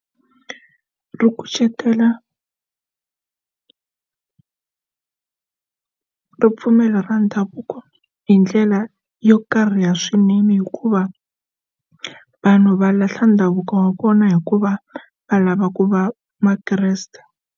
Ri kucetela ripfumelo ra ndhavuko hi ndlela yo karhi ya swinene hikuva vanhu va lahla ndhavuko wa kona hikuva va lava ku va makreste.